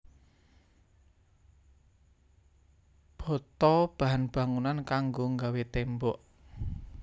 Bata bahan bangunan kanggo nggawé tembok